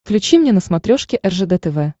включи мне на смотрешке ржд тв